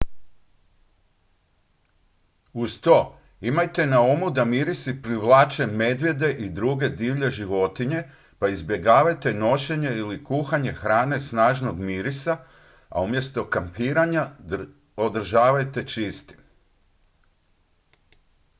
uz to imajte na umu da mirisi privlače medvjede i druge divlje životinje pa izbjegavajte nošenje ili kuhanje hrane snažnog mirisa a mjesto kampiranja održavajte čistim